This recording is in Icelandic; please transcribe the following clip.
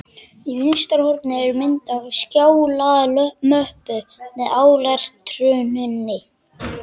Í vinstra horni er mynd af skjalamöppu með áletruninni